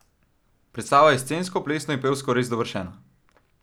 Predstava je scensko, plesno in pevsko res dovršena.